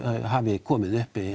hafi komið upp